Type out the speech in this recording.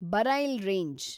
Braille range